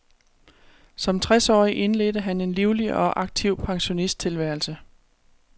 Som tres årig indledte han en livlig og aktiv pensionisttilværelse.